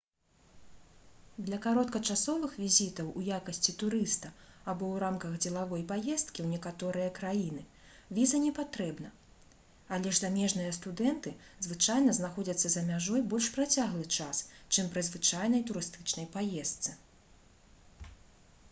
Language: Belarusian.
для кароткачасовых візітаў у якасці турыста або ў рамках дзелавой паездкі ў некаторыя краіны віза не патрэбна але ж замежныя студэнты звычайна знаходзяцца за мяжой больш працяглы час чым пры звычайнай турыстычнай паездцы